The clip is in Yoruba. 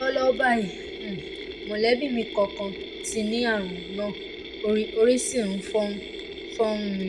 lọ́wọ́lọ́wọ́ báyìí um mọ̀lẹ́bí mi kan kan ti ní ààrùn náà orí sì ń um fọ́ um mi